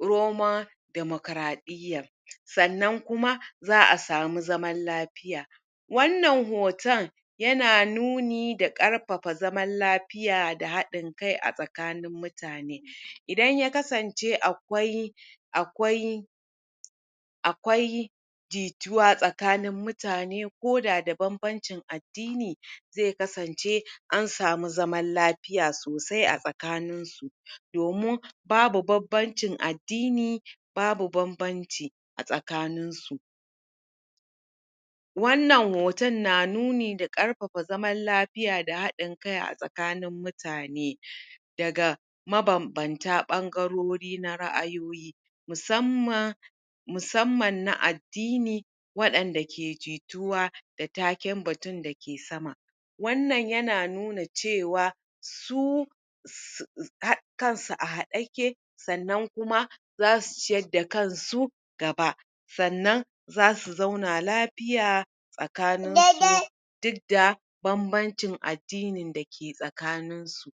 romon demokraɗiya sannan kuma za a samu zaman lafiya wannan hoton yana nuni da karfafa zaman lafiya a hadin kai a tsakanin mutane idan ya kasance akwai akwai akwai jituwa tsakanin mutane ko da da banbancin addini zai kasance an samu zaman lafiya sosai a tsakanin domin babu banbancin addini babu banbanci a tsakanin su wannan hoton na nuni da karfafa zaman lafiya da hadin kai a tsakanin mutane daga mabanbanta ɓangarori na ra'ayo musamman musamman na addini waɗanda ke jituwa da taken batun da ke sama wannan yana nuna cewa su kansu a hade yake sannan kuma za su ciyar da kansu gaba sannan za su zauna lafiya tsakanin su duk da banbancin addini da ke tsakanin su.